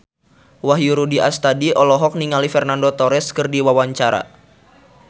Wahyu Rudi Astadi olohok ningali Fernando Torres keur diwawancara